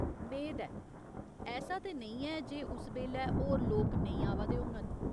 मेद ऐ। ऐसा ते नेईं ऐ जे उस बेल्लै होर लोक नेईं आवा दे होङन।